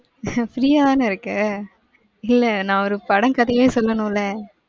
free யாதானே இருக்க? இல்ல, நான் ஒரு படம் கதையே சொல்லணும்ல?